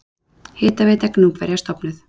Hitaveita Gnúpverja stofnuð.